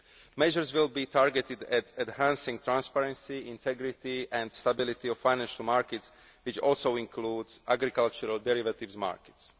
Measures will be targeted at enhancing the transparency, integrity and stability of financial markets, which also includes agricultural derivatives markets.